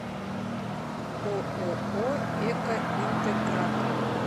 ооо экоинтегратор